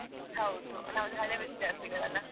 ಹೌದು ನಾವ್ ಎಲ್ಲ ಹಳೆ ವಿದ್ಯಾರ್ಥಿಗಳಲಾ?